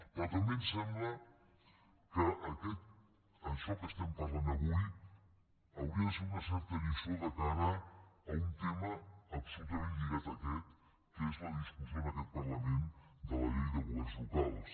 però també em sembla que això que estem parlant avui hauria de ser una certa lliçó de cara a un tema absolutament lligat a aquest que és la discussió en aquest parlament de la llei de governs locals